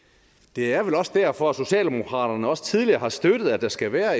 det er vel også derfor at socialdemokraterne også tidligere har støttet at der skal være